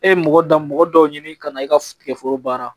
E ye mɔgɔ dan mɔgɔ dɔw ɲini kana i ka foro baara